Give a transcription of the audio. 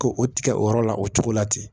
Ko o tigɛ o yɔrɔ la o cogo la ten